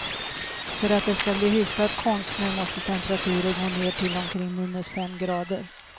För att det skall bli hyfsad konstsnö måste temperaturen gå ner till omkring minus fem grader.